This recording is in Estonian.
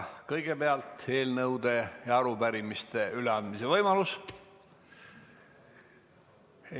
Kõigepealt eelnõude ja arupärimiste üleandmise võimalus.